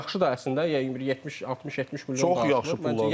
Və yaxşıdır əslində, yəni 70-60-70 milyona daşıyıb.